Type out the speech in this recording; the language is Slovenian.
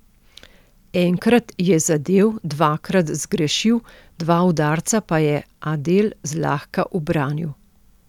Enkrat je zadel, dvakrat zgrešil, dva udarca pa je Adel zlahka ubranil.